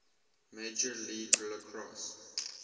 major league lacrosse